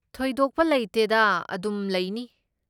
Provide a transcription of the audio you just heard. ꯊꯣꯏꯗꯣꯛꯄ ꯂꯩꯇꯦꯗꯥ, ꯑꯗꯨꯝ ꯂꯩꯅꯤ꯫